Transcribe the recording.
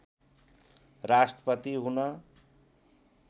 राष्ट्रपति हु्न